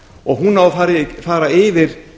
og hún á að fara yfir